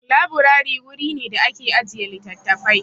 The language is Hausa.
Laburari wuri ne da ake ajiye littafafai.